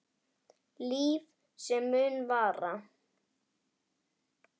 Líf sem mun vara.